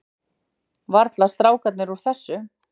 Varla strákarnir úr þessu.